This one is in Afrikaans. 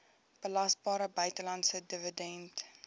belasbare buitelandse dividend